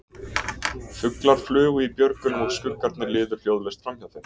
Fuglar flugu í björgunum og skuggarnir liðu hljóðlaust framhjá þeim.